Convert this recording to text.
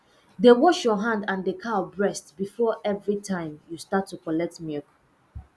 dey wash your hand and the cow breast before everytime you start to collect milk